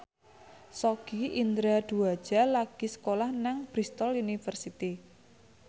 Sogi Indra Duaja lagi sekolah nang Bristol university